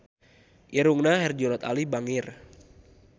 Irungna Herjunot Ali bangir